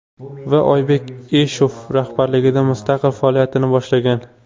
Va Oybek Eshov rahbarligida mustaqil faoliyatini boshlagan.